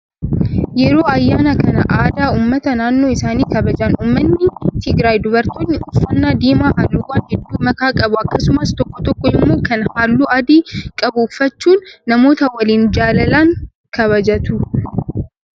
Yeroo ayyaana kan aadaa uummata naannoo isaanii kabajan uummanni Tigraay dubartoonni uffannaa diimaa halluuwwan hedduu makaa qabu akkasumas tokko tokko immoo kan halluu adii qabu uffachuun namoota waliin jaalalaan kabajatu.